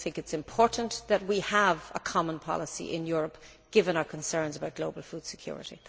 Do you think it is important that we have a common policy in Europe, given our concerns about global food security?